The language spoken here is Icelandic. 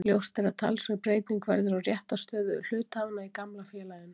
Ljóst er að talsverð breyting verður á réttarstöðu hluthafanna í gamla félaginu.